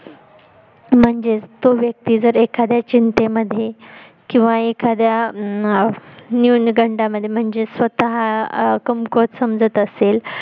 म्हणजेच तो व्यक्ति एखाद्या चिंतेमद्ये किंवा एखाद्या अह अं न्यूनगंडा मध्ये म्हणजेच स्वतः कमकुवत समजत असेल